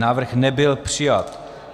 Návrh nebyl přijat.